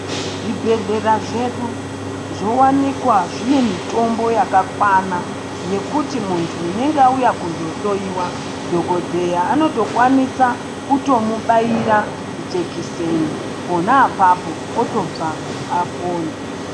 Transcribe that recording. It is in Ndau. Zvibhedhlera zvedu, zvowanikwa zvine mitombo yakakwana yekuti muntu unenge auya kuzohloiwa, dhokodheya anotokwanisa kutomubaira jekiseni pona apapo otobva apona.